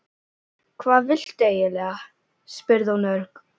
Hvað viltu eiginlega? spurði hún örg.